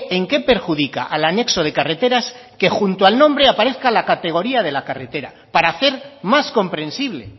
en qué perjudica al anexo de carreteras que junto al nombre aparezca la categoría de la carretera para hacer más comprensible